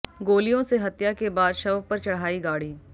गोलियों से हत्या के बाद शव पर चढ़ाई गाड़ी